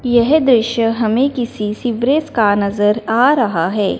यह दृश्य हमें किसी सीवरेज का नजर आ रहा है।